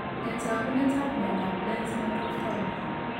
Nee taakunetaab myondap Lenz microphthalma?